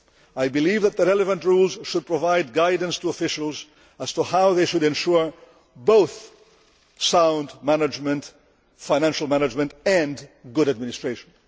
I believe that the relevant rules should provide guidance to officials as to how they should ensure both sound financial management and good administration.